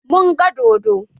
Mun gan dodon.